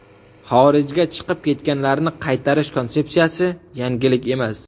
Xorijga chiqib ketganlarni qaytarish konsepsiyasi – yangilik emas.